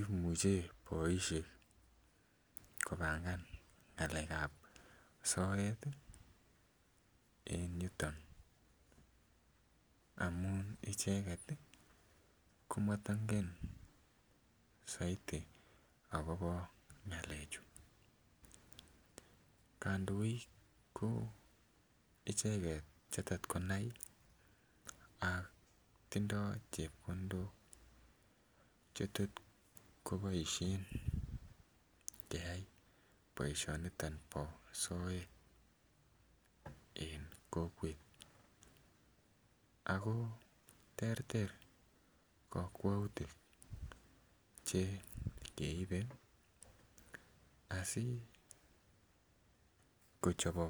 imuche boisiek kobangan ng'alek ab soet ih en yuton amun icheket ih komotongen soiti akobo ngalechu. Kandoik ko icheket chetot konai ak tindoo chepkondok chetot koboisien keyai boisioniton bo soet en kokwet ako terter kokwoutik chekeibe asikochobok